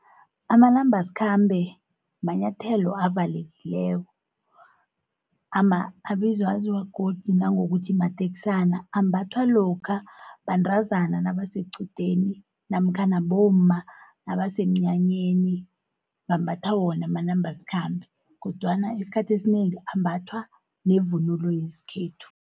Amanambasikhambe manyathelo avalekileko, aziwa godu nangokuthi mateksana. Ambathwa lokha bantrazana nabasequdeni, namkhana bomma nabasemnyanyeni bambatha wona, amanambasikhambe, kodwana isikhathi esinengi ambathwa nevunulo yeskhethu.